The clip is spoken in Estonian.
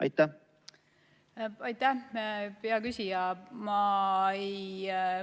Aitäh, hea küsija!